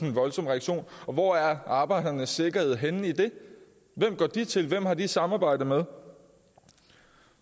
en voldsom reaktion og hvor er arbejdernes sikkerhed så henne i det hvem går de til hvem har de et samarbejde med